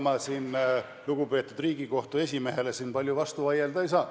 No ega ma siin lugupeetud Riigikohtu esimehele palju vastu vaielda ei saa.